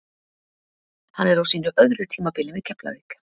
Hann er á sínu öðru tímabili með Keflavík.